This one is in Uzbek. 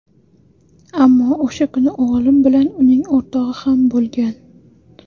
Ammo o‘sha kuni o‘g‘lim bilan uning o‘rtog‘i ham bo‘lgan.